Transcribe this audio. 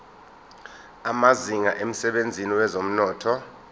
amazinga emsebenzini wezomnotho